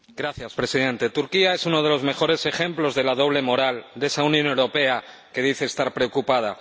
Señor Presidente, Turquía es uno de los mejores ejemplos de la doble moral de esa Unión Europea que dice estar preocupada